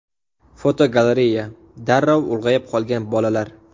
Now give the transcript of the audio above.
Fotogalereya: Darrov ulg‘ayib qolgan bolalar.